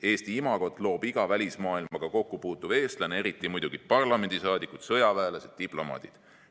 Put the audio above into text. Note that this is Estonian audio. Eesti imagot loob iga välismaailmaga kokkupuutuv eestlane, eriti muidugi parlamendisaadikud, sõjaväelased, diplomaadid.